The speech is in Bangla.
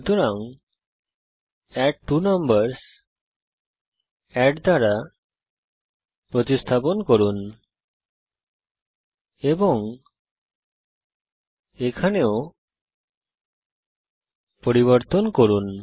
সুতরাং অ্যাডট্বোনাম্বারসহ এড দ্বারা প্রতিস্থাপন করুন এবং এখানেও পরিবর্তন করুন